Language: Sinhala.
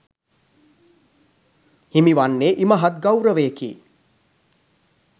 හිමි වන්නේ ඉමහත් ගෞරවයකි